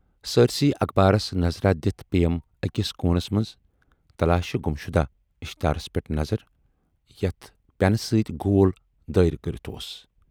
سٲرۍسٕے اخبارس نظراہ دِتھ پییم ٲکِس کوٗنس منز"تلاشِ گُمشدہ"اشتہارس پٮ۪ٹھ نظر یتھ پٮ۪نہٕ سۭتۍ گول دٲیرٕ کٔرِتھ اوس۔